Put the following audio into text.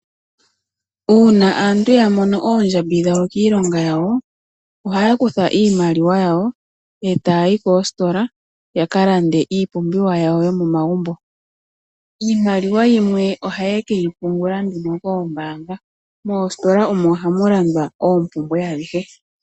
Uuna aantu yamono oondjambi dhawo kiilonga yawo, ohaya kutha iimaliwa yawo eta yayi koositola yakalande iipumbiwa yawo yomomagumbo. Iimaliwa yimwe ohaye keyipungula nduno koombanga, moositola omo hamu landwa oompumbwe adhihe.